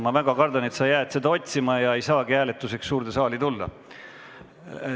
Ma väga kardan, et sa jäädki seda otsima ja ei jõua hääletuse ajaks suurde saali tagasi.